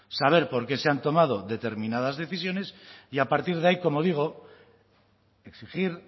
saber por qué se han tomado determinadas decisiones y a partir de ahí como digo exigir